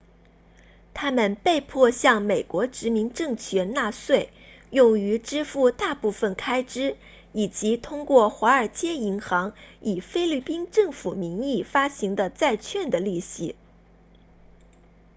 他们被迫向美国殖民政权纳税用于支付大部分开支以及通过华尔街银行以菲律宾政府名义发行的债券的利息